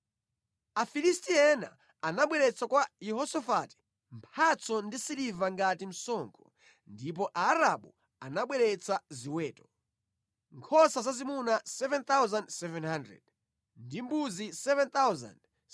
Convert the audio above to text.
Afilisti ena anabweretsa kwa Yehosafati mphatso ndi siliva ngati msonkho, ndipo Aarabu anabweretsa ziweto: nkhosa zazimuna 7,700 ndi mbuzi 7,700.